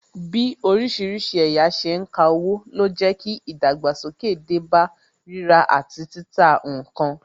Bí orísìírísìí ẹ̀yà ṣe ń ka owó, ló jẹ́ kí ìdàgbàsókè dé bá rírà àti títà ǹkan